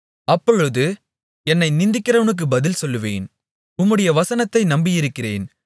அப்பொழுது என்னை நிந்திக்கிறவனுக்கு பதில் சொல்லுவேன் உம்முடைய வசனத்தை நம்பியிருக்கிறேன்